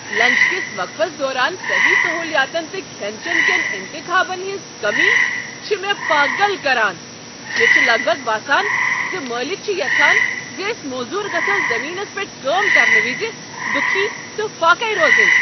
Lunch كِس وقفس دوران سٔہی سہولیاتن تہٕ کھین چٮ۪ن کٮ۪ن انتخابن ہنٛز کٔمی چھ مےٚ پاگل کران۔ مےٚ چھ لگ بگ باسان ز مٲلک چھ یژھان ز أسۍ موٚذوٗر گژھو زٔمینس پٮ۪ٹھ کٲم کرن وز دُكھی تہٕ فاقیہ روزٕنۍ۔